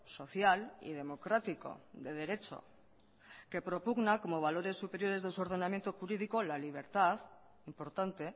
social y democrático de derecho que propugna como valores superiores de su ordenamiento jurídico la libertad importante